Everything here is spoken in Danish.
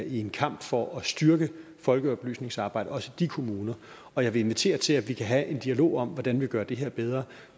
i en kamp for at styrke folkeoplysningsarbejdet også i de kommuner og jeg vil invitere til at vi kan have en dialog om hvordan vi gør det her bedre